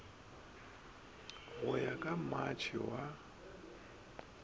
go ya go matšhe wa